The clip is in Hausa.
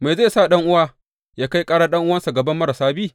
Me zai sa ɗan’uwa yă kai ƙarar ɗan’uwa, a gaban marasa bi?